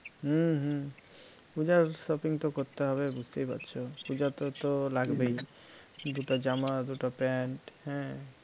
হম হম পূজার shopping তো করতেই হবে বুঝতেই পারছ, পূজাতে তো লাগবেই দুটা জামা দুটা প্যান্ট হ্যাঁ